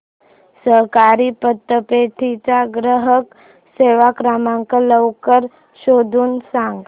सहकारी पतपेढी चा ग्राहक सेवा क्रमांक लवकर शोधून सांग